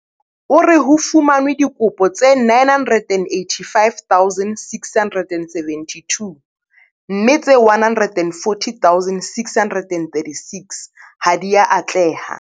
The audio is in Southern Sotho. O re ho fumanwe dikopo tse 985 672 mme tse 140 636 ha di a atleha.